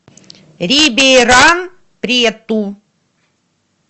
рибейран прету